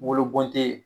Wolo bɔn tɛ